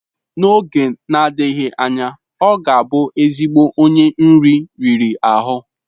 N'oge na-adịghị anya, ọ ga-abụ ezigbo onye nri riri ahụ.